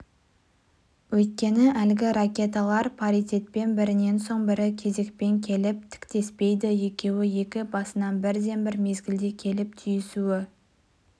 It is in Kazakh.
өйткені әлгі ракеталар паритетпен бірінен соң бірі кезекпен келіп тіктеспейді екеуі екі басынан бірден бір мезгілде келіп түйісуі